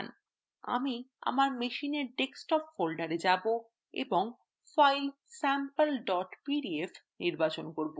আমি আমার machine desktop folder যাব এবং file sample pdf নির্বাচন করব